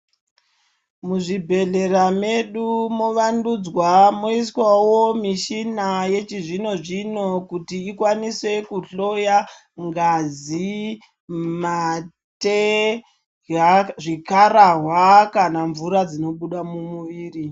Muzvibhedhlera medu movandudzwa moiswawo michina yechizvino zvino kuti ikwanise kuhloya ngazi, mate , zvikararwa kana mvura dzinobuda mumuviri.